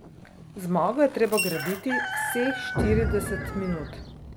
Zmago je treba graditi vseh štirideset minut.